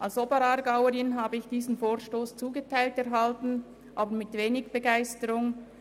Als Oberaargauerin habe ich diese Motion zugeteilt erhalten, aber mit wenig Begeisterung.